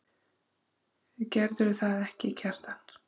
Gerðirðu það ekki, Kjartan?